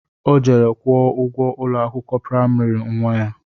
Ọ jere kwuo ụgwọ ụlọ akwụkwọ praịmarị nnwa ya